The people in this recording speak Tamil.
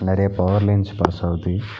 நெறைய பவர் லைன்ஸ் பாஸ்ஸாவுது .